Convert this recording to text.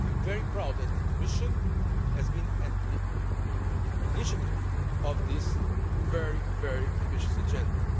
I am very proud that the Commission has been the initiator of this very ambitious agenda.